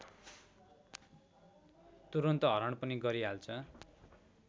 तुरुन्त हरण पनि गरिहाल्छ